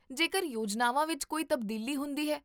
ਜੇਕਰ ਯੋਜਨਾਵਾਂ ਵਿੱਚ ਕੋਈ ਤਬਦੀਲੀ ਹੁੰਦੀ ਹੈ?